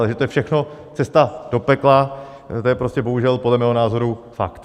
Ale že to je všechno cesta do pekla, to je prostě bohužel podle mého názoru fakt.